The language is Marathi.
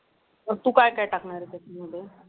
अह तू काय काय टाकणार आहे?